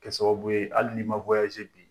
Kɛ sababu ye hali ni bi